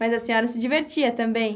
Mas a senhora se divertia também?